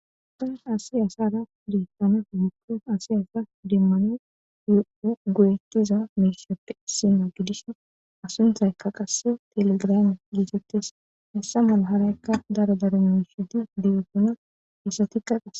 Ponen asiyasara deetane gukies asi asa demmano goyetiza meeshappe sima gidis asunthaykka qasse telegraame gietettes hessa malaharaykka daro daremushati degetona hessatikka qase.